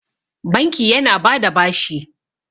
banki yana ba da bashi